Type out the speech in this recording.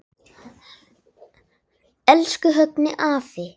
Elsku Högni afi.